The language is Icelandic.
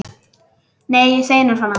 Nei, ég segi nú svona.